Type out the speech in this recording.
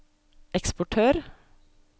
eksportør